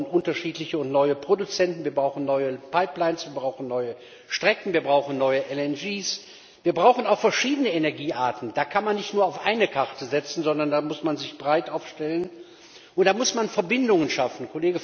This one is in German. Wir brauchen unterschiedliche und neue Produzenten, wir brauchen neue Pipelines, wir bauchen neue Strecken, wir brauchen neue LNG Terminals, wir brauchen auch verschiedene Energiearten, da kann man nicht nur auf eine Karte setzen, sondern da muss man sich breit aufstellen, und da muss man Verbindungen schaffen.